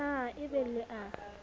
na e be le a